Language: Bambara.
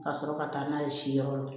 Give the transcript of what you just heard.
Ka sɔrɔ ka taa n'a ye si yɔrɔ la